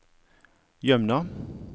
Jømna